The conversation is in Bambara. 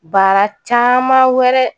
Baara caman wɛrɛ